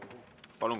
Palun!